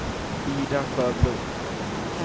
Ida Sjöblom